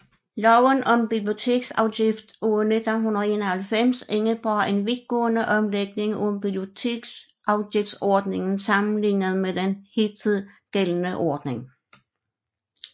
Loven om biblioteksafgift af 1991 indebar en vidtgående omlægning af biblioteksafgiftsordningen sammenlignet med den hidtil gældende ordning